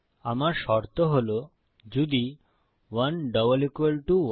আমার শর্ত হল যদি 11 ইকো ট্রু